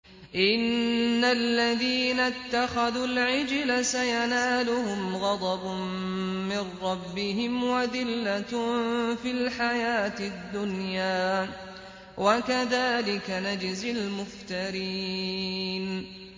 إِنَّ الَّذِينَ اتَّخَذُوا الْعِجْلَ سَيَنَالُهُمْ غَضَبٌ مِّن رَّبِّهِمْ وَذِلَّةٌ فِي الْحَيَاةِ الدُّنْيَا ۚ وَكَذَٰلِكَ نَجْزِي الْمُفْتَرِينَ